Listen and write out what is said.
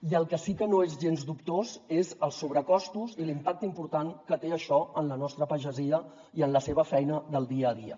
i el que sí que no és gens dubtós són els sobrecostos i l’impacte important que té això en la nostra pagesia i en la seva feina del dia a dia